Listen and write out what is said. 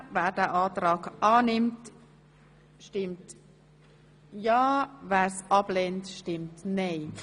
Wer den Antrag annimmt, stimmt ja, wer dies ablehnt, stimmt nein.